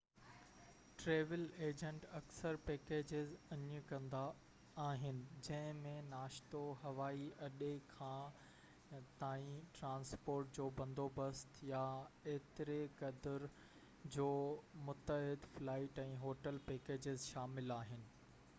travel agent اڪثر packages آڇ ڪندا آهن جنهن ۾ ناشتو، هوائي اڏي کان/تائين ٽرانسپورٽ جو بندوبست يا ايتري قدر جو متحد فلائيٽ ۽ هوٽل پيڪيجز شامل آهن